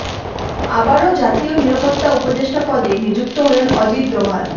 আবারও জাতীয় নিরাপত্তা উপদেষ্টা পদে নিযুক্ত হলেন অজিত দোভাল